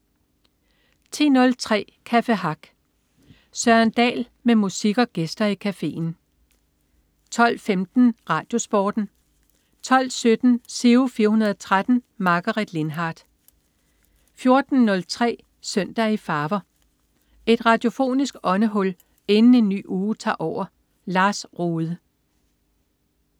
10.03 Café Hack. Søren Dahl med musik og gæster i cafeen 12.15 RadioSporten 12.17 Giro 413. Margaret Lindhardt 14.03 Søndag i farver. Et radiofonisk åndehul inden en ny uge tager over. Lars Rohde